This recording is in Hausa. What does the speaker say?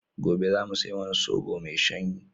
Gobe za mu sai wani sobo mai shanyi.